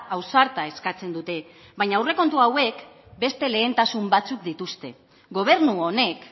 ausarta eskatzen dute baina aurrekontu hauek beste lehentasun batzuk dituzte gobernu honek